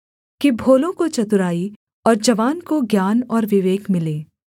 कि भोलों को चतुराई और जवान को ज्ञान और विवेक मिले